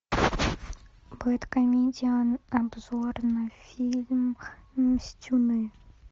бэд комедиан обзор на фильм мстюны